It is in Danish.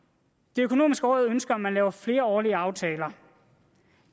det økonomiske råd ønsker at man laver flerårige aftaler